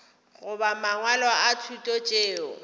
goba mangwalo a thuto tšeo